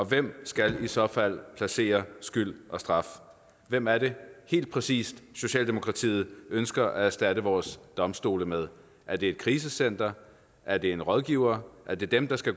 hvem skal i så fald placere skyld og straf hvem er det helt præcist socialdemokratiet ønsker at erstatte vores domstole med er det et krisecenter er det en rådgiver er det dem der skal